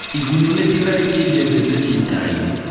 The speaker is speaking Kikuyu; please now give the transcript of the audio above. Igunyũ nĩ cĩtharĩkĩire mbembe ci itara-inĩ